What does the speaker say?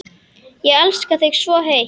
Ég elska þig svo heitt.